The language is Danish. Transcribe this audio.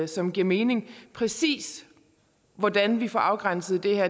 som giver mening præcis hvordan vi får afgrænset det her